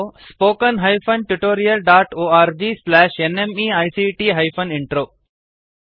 oscariitbacಇನ್ and spoken tutorialಒರ್ಗ್ nmeict intro